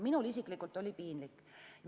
Minul isiklikult oli piinlik.